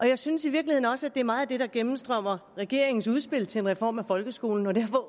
jeg synes i virkeligheden også at det meget er det der gennemstrømmer regeringens udspil til en reform af folkeskolen og derfor